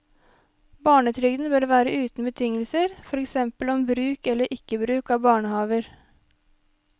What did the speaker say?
Barnetrygden bør være uten betingelser, for eksempel om bruk eller ikke bruk av barnehaver.